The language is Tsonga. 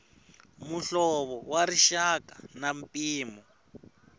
muhlovo wa rixaka na mpimo